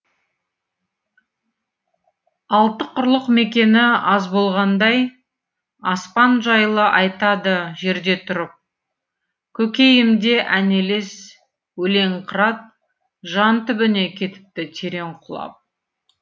алты құрлық мекені аз болғандай аспан жайлы айтады жерде тұрып көкейімде ән елес өлең қырат жан түбіне кетіпті терең құлап